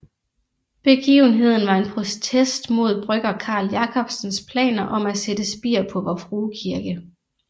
Begivenheden var en protest mod brygger Carl Jacobsens planer om at sætte spir på Vor Frue Kirke